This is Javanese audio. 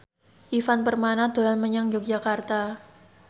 Ivan Permana dolan menyang Yogyakarta